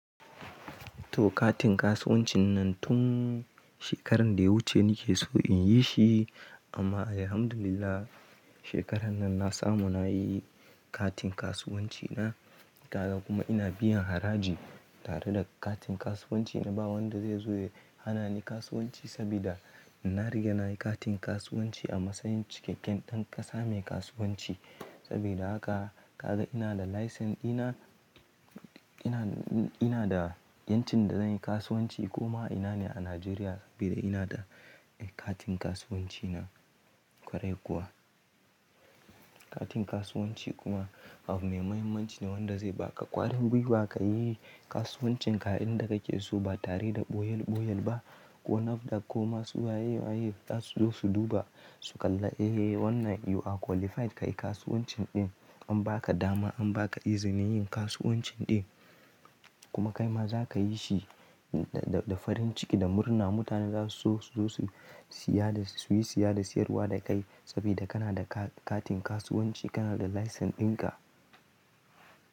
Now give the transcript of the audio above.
Toh katin kasuwancin nan tun shekarar da ya wuce nake so in yi shi amma alhamdulillah shekarar nan na samu na yi katin kasuwanci na. Kaza kuma ina biyan haraji tare da katin kasuwanci na. Ba wanda zai zo ya hana ni kasuwanci sabida na riga na yi katin kasuwanci a masanyin cikakken ɗan ƙasa mai kasuwanci. Sabida haka ka ga ina da license ina, ina da yancin da zanyi kasuwanci koma ina ne a Nijeriya sabida ina da katin kasuwanci na ƙwarai kuwa. Katin kasuwanci kuma abu mai mahimmanci ne wanda zai baka ƙwarin gwiwa ka yi kasuwancin ka inda kake so ba tare da ɓoyal ɓoyal ba. Ko NAFDAC ko masu waye waye za su zo su duba su kalla eh wannan you are qualified kayi kasuwancin ɗin. An baka dama an baka izinin yin kasuwancin ɗin. Kuma kaima za ka yi shi da farin ciki da murna. Mutane za su zo su yi siya da siyarwa da kai sabida kana da katin kasuwanci kana da license ɗin ka.